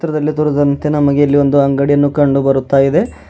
ಚಿತ್ರದಲ್ಲಿ ತೋರಿದಂತೆ ಇಲ್ಲಿ ನಮಗೆ ಒಂದು ಅಂಗಡಿಯನ್ನು ಕಂಡು ಬರುತ್ತಾ ಇದೆ.